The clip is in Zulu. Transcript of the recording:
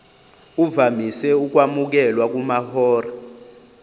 uvamise ukwamukelwa kumahora